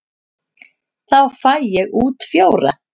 Þá fæ ég út fjóra.